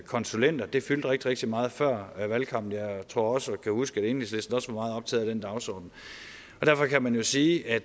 konsulenter fyldte rigtig rigtig meget før valgkampen jeg tror også at kunne huske at enhedslisten var meget optaget af den dagsorden så man kan sige at